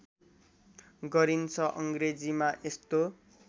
गरिन्छ अङ्ग्रेजीमा यस्तो